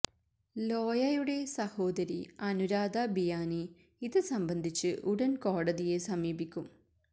ലോയയുടെ സഹോദരി അനുരാധ ബിയാനി ഇത് സംബന്ധിച്ച് ഉടൻ കോടതിയെ സമീപിക്കും